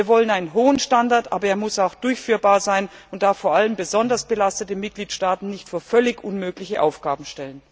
Wir wollen einen hohen Standard, aber er muss auch durchführbar sein und darf vor allem besonders belastete Mitgliedstaaten nicht vor völlig unmögliche Aufgaben stellen.